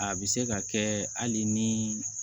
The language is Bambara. A bɛ se ka kɛ hali ni